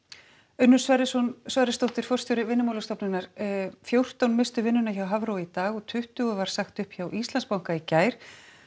Unnur Sverrisdóttir Sverrisdóttir forstjóri Vinnumálastofnunar fjórtán misstu vinnuna hjá Hafró í dag og tuttugu var sagt upp hjá Íslandsbanka í gær